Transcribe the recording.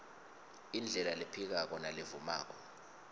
indlela lephikako nalevumako